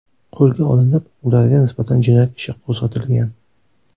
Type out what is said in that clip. qo‘lga olinib, ularga nisbatan jinoyat ishi qo‘zg‘atilgan.